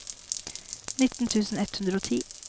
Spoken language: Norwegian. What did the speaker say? nitten tusen ett hundre og ti